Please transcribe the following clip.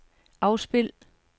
afspil